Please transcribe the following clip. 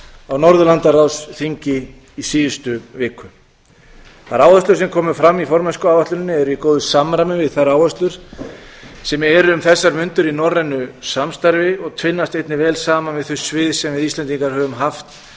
á norðurlandaráðsþingi í síðustu viku þær áherslur sem komu fram í formennskuáætluninni eru í góðu samræmi við þær áherslur sem eru um þessar mundir í norrænu samstarfi og finnast einnig vel saman við þau svið sem við íslendingar höfum haft